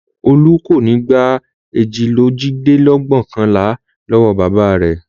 Olú kò ní gbà èjìlélójìlẹ́ẹ̀dẹ́gbẹ̀ọ̀kànlá lọ́wọ́ bàbá rẹ̀.